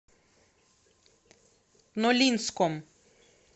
нолинском